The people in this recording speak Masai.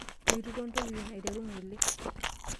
Meitukuo ntokitin aiteru ng'ole.